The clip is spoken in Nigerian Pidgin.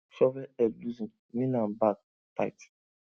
shovel head loosen nail am back tight